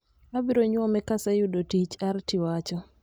"abiro nyuome ka aseyuodo tich," Arti wacho.